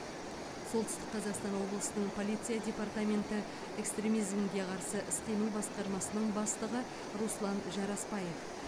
солтүстік қазақстан облысының полиция департаменті экстремизмге қарсы іс қимыл басқармасының бастығы руслан жарасбаев